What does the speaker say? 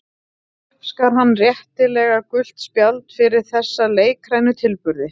Uppskar hann réttilega gult spjald fyrir þessa leikrænu tilburði.